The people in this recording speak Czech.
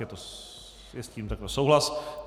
Je s tím takto souhlas?